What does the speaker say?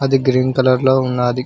అది green colour లో ఉన్నది